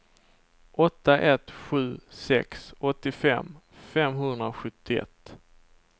åtta ett sju sex åttiofem femhundrasjuttioett